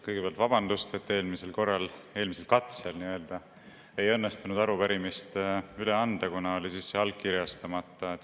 Kõigepealt vabandust, et eelmisel katsel ei õnnestunud arupärimist üle anda, kuna see oli allkirjastamata.